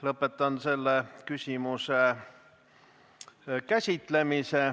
Lõpetan selle küsimuse käsitlemise.